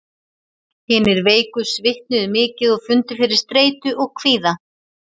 Hinir veiku svitnuðu mikið og fundu fyrir streitu og kvíða.